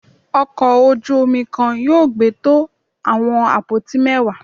ọkò ojú omí kan yóò gbé to awọn apoti mẹwa.